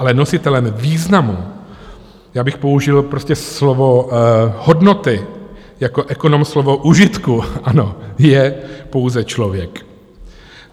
Ale nositelem významu, já bych použil prostě slovo hodnoty, jako ekonom slovo užitku, ano, je pouze člověk.